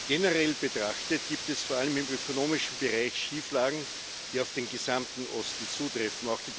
Generell betrachtet gibt es vor allem im ökonomischen Bereich Schieflagen, die auf den gesamten Osten zutreffen.